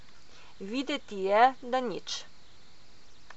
Videti je, da nič.